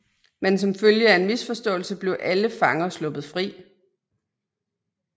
Men som følge af en misforståelse blev alle fanger sluppet fri